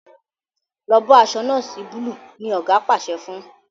lọ bó aṣọ noosi Búlúù! ní oga pàṣẹ fún.